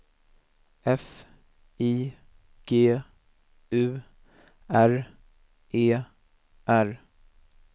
F I G U R E R